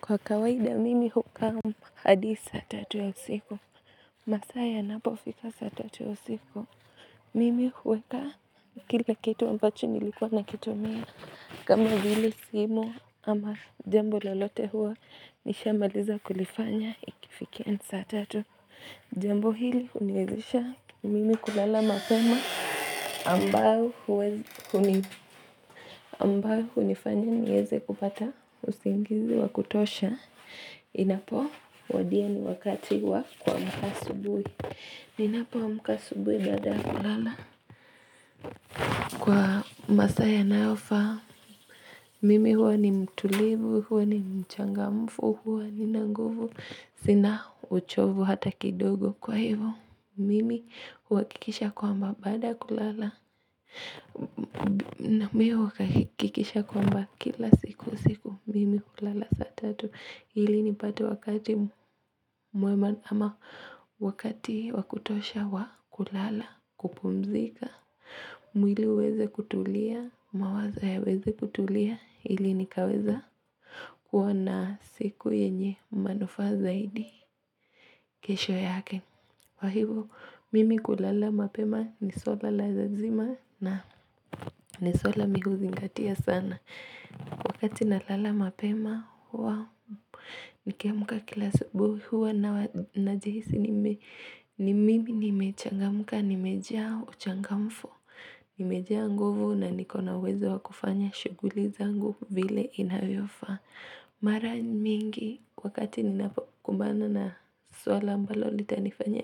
Kwa kawaida mimi hukaa hadi saa tatu ya usiku. Masaa yanapofika saa tatu ya usiku. Mimi huweka kila kitu ambacho nilikuwa nakitumia. Kama hili simu ama jambo lolote huwa nishamaliza kulifanya ikifikia saa tatu. Jambo hili uniwezesha mimi kulala mapema ambayo unifanya nieze kupata usingizi wa kutosha. Inapo wadia ni wakati wa kuamka asubuhi ninapo amka asubuhi baada ya kulala Kwa masaa yanayofaa Mimi huwa ni mtulivu, huwa ni mchangamfu, huwa nina nguvu Sina uchovu hata kidogo kwa hivyo Mimi uwakikisha kwamba baada ya kulala na mimi huwa nahakikisha kwamba kila siku usiku Mimi ulala saa tatu Hili nipati wakati mwema wakati wa kutosha wa kulala kupumzika. Mwili uweze kutulia, mawazo yaweze kutulia. Hili nikaweza kuwa na siku yenye manufaa zaidi kesho yake. Kwa hivyo, mimi kulala mapema ni swala lazima na ni swala mimi huzingatia sana. Wakati nalala mapema huwa nikiamuka kila asubuhi huwa najihisi ni mimi nimechangamka nimejaa uchangamfu nimejaa nguvu na niko na uwezo wa kufanya shughuli zangu vile inayofaa. Mara mingi wakati ninapokumbana na swala ambalo nitalinifanya